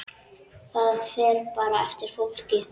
Það fer bara eftir fólki.